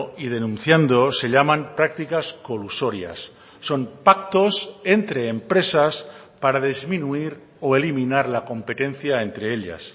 y denunciando se llaman prácticas colusorias son pactos entre empresas para disminuir o eliminar la competencia entre ellas